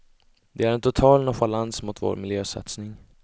Det är en total nonchalans mot vår miljösatsning.